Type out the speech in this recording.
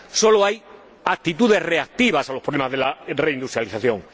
Solo hay actitudes reactivas ante los problemas de la reindustrialización.